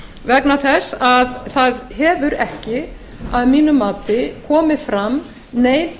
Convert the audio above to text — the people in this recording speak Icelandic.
vegna þess að það hefur ekki að mínu mati komið fram neinn